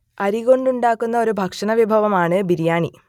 അരി കൊണ്ടുണ്ടാക്കുന്ന ഒരു ഭക്ഷണവിഭവമാണ് ബിരിയാണി